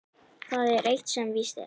Það er eitt sem víst er.